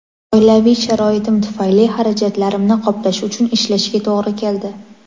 Oilaviy sharoitim tufayli xarajatlarimni qoplash uchun ishlashga to‘g‘ri keldi.